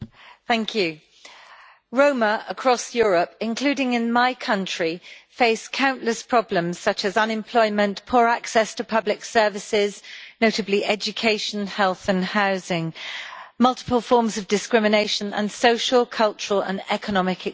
Madam President, Roma, across Europe, including in my country, face countless problems such as unemployment, poor access to public services, notably education, health and housing, multiple forms of discrimination and social, cultural and economic exclusion.